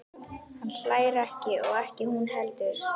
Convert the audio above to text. Hann hlær ekki og ekki hún heldur.